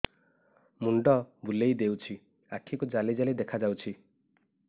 ମୁଣ୍ଡ ବୁଲେଇ ଦେଉଛି ଆଖି କୁ ଜାଲି ଜାଲି ଦେଖା ଯାଉଛି